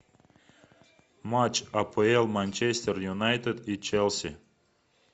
матч апл манчестер юнайтед и челси